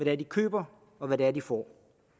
er de køber og hvad det er de får